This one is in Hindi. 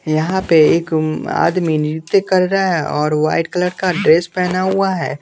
यहाँ पे एक आदमी नृत्य कर रहा है और वाइट कलर का ड्रेस पहना हुआ है --